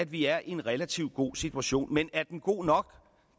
vi er i en relativt god situation men er den god nok